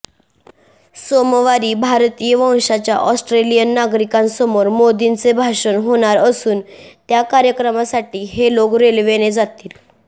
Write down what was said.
सोमवारी भारतीय वंशाच्या ऑस्ट्रेलियन नागरिकांसमोर मोदींचे भाषण होणार असून त्या कार्यक्रमासाठी हे लोक रेल्वेने जातील